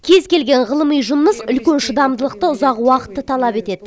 кез келген ғылыми жұмыс үлкен шыдамдылықты ұзақ уақытты талап етеді